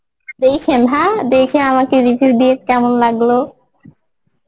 দেখেন হ্যাঁ দেখে আমাকে review দেবেন কেমন লাগলো